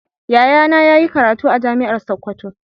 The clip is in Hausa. Yayana yayi karatu a jami'an sokoto.